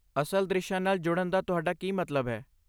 ਅਸਲ ਦ੍ਰਿਸ਼ਾਂ ਨਾਲ ਜੁੜਨ ਦਾ ਤੁਹਾਡਾ ਕੀ ਮਤਲਬ ਹੈ?